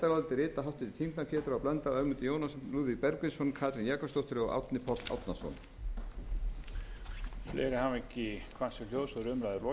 rita háttvirtir þingmenn pétur h blöndal ögmundur jónasson lúðvík bergvinsson katrín jakobsdóttir og árni páll árnason